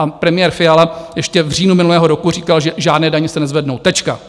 Pan premiér Fiala ještě v říjnu minulého roku říkal, že žádné daně se nezvednou, tečka.